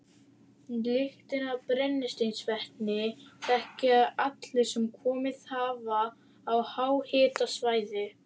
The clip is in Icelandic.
Lyktina af brennisteinsvetni þekkja allir sem komið hafa á háhitasvæði.